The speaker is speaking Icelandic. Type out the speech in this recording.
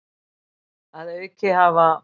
Að auki hafa